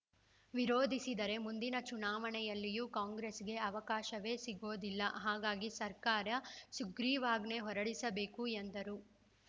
ವಿರೋಧಿಸಿದರೆ ಮುಂದಿನ ಚುನಾವಣೆಯಲ್ಲೂ ಕಾಂಗ್ರೆಸ್‌ಗೆ ಅವಕಾಶವೇ ಸಿಗೋದಿಲ್ಲ ಹಾಗಾಗಿ ಸರ್ಕಾರ ಸುಗ್ರೀವಾಜ್ಞೆ ಹೊರಡಿಸಬೇಕು ಎಂದರು